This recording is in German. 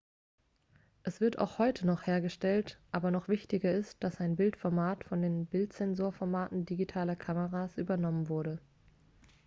es wird auch heute noch hergestellt aber noch wichtiger ist dass sein bildformat von den bildsensorformaten digitaler kameras übernommen wurde